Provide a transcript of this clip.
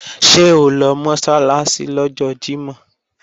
Ṣé o lọ Mọ́sálásí lọ́jọ́ Jímọ̀?